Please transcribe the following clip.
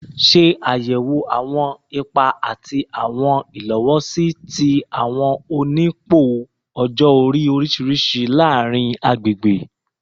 Ṣe ayẹwo awọn ipa ati awọn ilowosi ti awọn onipò ọjọ-ori oriṣiriṣi laarin agbegbe